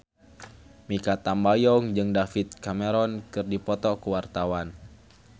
Mikha Tambayong jeung David Cameron keur dipoto ku wartawan